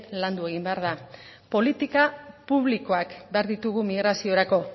landu egin behar da politika publikoak behar ditugu migraziorako